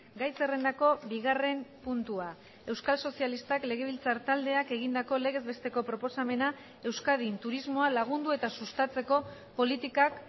gai zerrendako bigarren puntua euskal sozialistak legebiltzar taldeak egindako legez besteko proposamena euskadin turismoa lagundu eta sustatzeko politikak